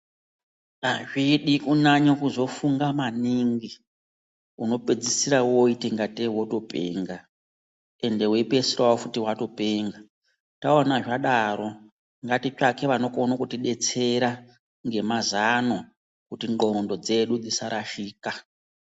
Azvidi kuzonyanye kufunga maningi unopedzisira woite ngate wotopenga ende weipedzisira futhi watopenga, taona zvadaro ngatitsvake vanokone kuti detsera ngemazano kuti ndxondo dzedu dzisarashika.